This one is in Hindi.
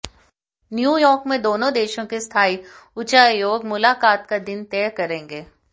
न्यूयॉर्क में दोनों देशों के स्थायी उच्चायोग मुलाकात का दिन तय करेंगे